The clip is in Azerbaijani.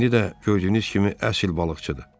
"İndi də, gördüyünüz kimi, əsl balıqçıdır."